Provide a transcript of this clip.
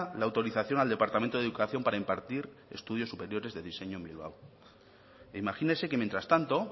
la autorización al departamento de educación para impartir estudios superiores de diseño en bilbao e imagínese que mientras tanto